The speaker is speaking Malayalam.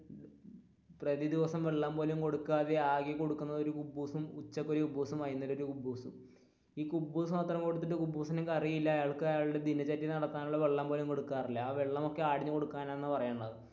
പ്രതിദിവസം വെള്ളം പോലും കൊടുക്കാതെ ആകെ കൊടുക്കുന്നത് ഒരു കുബൂസും ഉച്ചക്ക് ഒരു കുബൂസും വൈകുന്നേരം ഒരു കുബൂസും ഈ കുബൂസു മാത്രം കൊടുത്തിട്ട്, കുബൂസിന് കറിയില്ല അയാൾക് അയാളുടെ ദിനചര്യ നടത്താനുള്ള വെള്ളം പോലും കൊടുക്കാറില്ല ആ വെള്ളമൊക്കെ ആടിന്